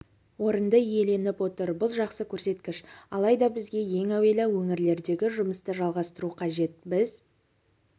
орынды иеленіп отыр бұл жақсы көрсеткіш алайда бізге ең әуелі өңірлердегі жұмысты жалғастыру қажет біз